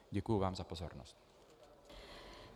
Děkuji vám za pozornost.